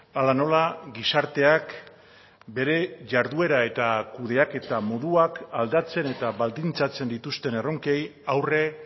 hala nola gizarteak bere jarduera eta kudeaketa moduak aldatzen eta baldintzatzen dituzten erronkei aurre